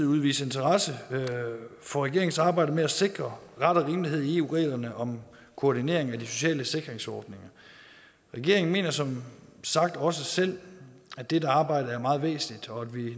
udviser interesse for regeringens arbejde med at sikre ret og rimelighed i eu reglerne om koordinering af de sociale sikringsordninger regeringen mener som sagt også selv at det er et arbejde der er meget væsentligt og